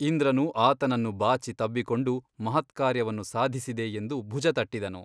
ಇಂದ್ರನು ಆತನನ್ನು ಬಾಚಿ ತಬ್ಬಿಕೊಂಡು ಮಹತ್ಕಾರ್ಯವನ್ನು ಸಾಧಿಸಿದೆ ಎಂದು ಭುಜ ತಟ್ಟಿದನು.